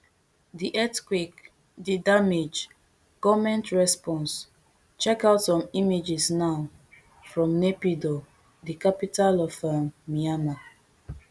di earthquake di damage goment response checkout some images now from naypyidaw di capital of um myanmar